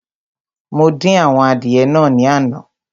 Mo dín àwọn adìẹ naa ní àná